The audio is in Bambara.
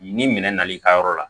Ni minɛn na i ka yɔrɔ la